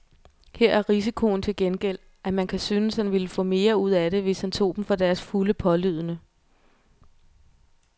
Her er risikoen til gengæld, at man kan synes han ville få mere ud af det, hvis han tog dem for deres fulde pålydende.